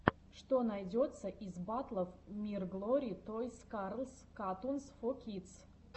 что найдется из батлов мирглори тойс карс катунс фо кидс